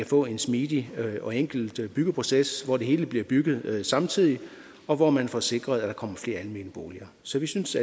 få en smidig og enkel byggeproces hvor det hele bliver bygget samtidigt og hvor man får sikret at der kommer flere almene boliger så vi synes